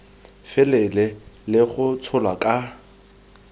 felele le go tsholwa ka